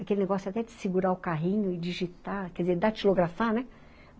Aquele negócio até de segurar o carrinho e digitar, quer dizer, datilografar, né?